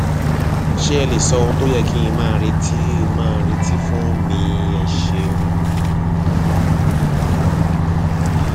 ṣé ẹ lè sọ ohun tó yẹ kí n máa retí n máa retí fún um mi ẹ ṣeun um